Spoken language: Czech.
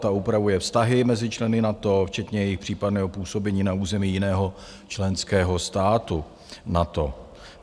Ta upravuje vztahy mezi členy NATO včetně jejich případného působení na území jiného členského státu NATO.